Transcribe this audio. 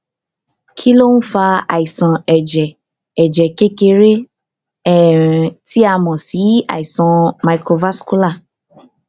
kí ló ń fa àìsàn ẹjẹ ẹjẹ kékeré um tí a mọ sí àìsàn microvascular